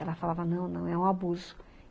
Ela falava, não, não, é um abuso.